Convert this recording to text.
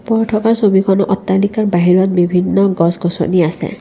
ওপৰত থকা ছবিখন অট্টালিকাৰ বাহিৰত বিভিন্ন গছ-গছনি আছে।